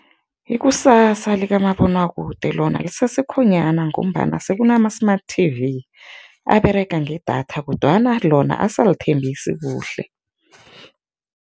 Ikusasa likamabonwakude lona lisesekhonyana ngombana sekuna-smart T_V aberega ngedatha kodwana lona ase alithembisi kuhle.